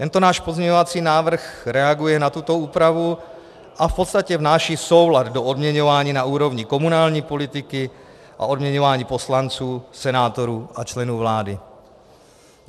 Tento náš pozměňovací návrh reaguje na tuto úpravu a v podstatě vnáší soulad do odměňování na úrovni komunální politiky a odměňování poslanců, senátorů a členů vlády.